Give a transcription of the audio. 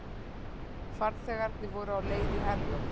Farþegarnir voru á leið í Herjólf